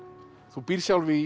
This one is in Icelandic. þú býrð sjálf í